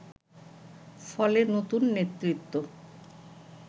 ফলে নতুন নেতৃত্ব